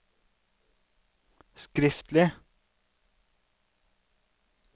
skriftlig